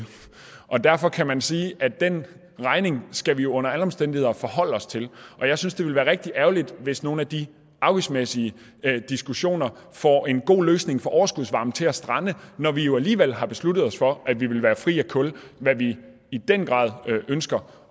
og derfor kan man sige at den regning skal vi jo under alle omstændigheder forholde os til og jeg synes det vil være rigtig ærgerligt hvis nogle af de afgiftsmæssige diskussioner får en god løsning for overskudsvarme til at strande når vi jo alligevel har besluttet os for at vi vil være fri af kul hvad vi i den grad ønsker